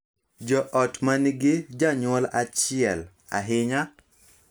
Jo ot ma nigi janyuol achiel, ahinya,